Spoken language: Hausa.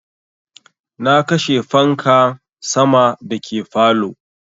Na kashe fanka sama da ke falow